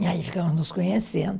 E aí ficamos nos conhecendo.